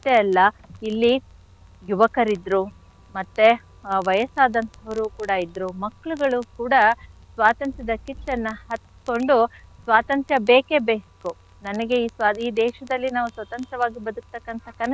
ಅಲ್ಲ ಇಲ್ಲಿ ಯುವಕರಿದ್ರು ಮತ್ತೆ ಆ ವಯಸ್ಸಾದಂಥವ್ರು ಕೂಡ ಇದ್ರು ಮಕ್ಳುಗಳು ಕೂಡ ಸ್ವಾತಂತ್ರ್ಯದ ಕಿಚ್ಚನ್ನ ಹಚ್ಕೊಂಡು ಸ್ವಾತಂತ್ರ್ಯ ಬೇಕೆ ಬೇಕು ನನಗೆ ಈ ದೇಶದಲ್ಲಿ ನಾವ್ ಸ್ವತಂತ್ರವಾಗಿ ಬದ್ಕ್ತಕ್ಕಂಥ ಕನಸನ್ನ,